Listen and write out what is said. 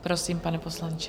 Prosím, pane poslanče.